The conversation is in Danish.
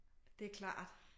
Det klart